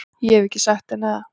Ég hef ekki sagt henni það.